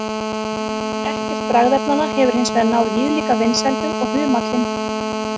Ekkert bragðefnanna hefur hins vegar náð viðlíka vinsældum og humallinn.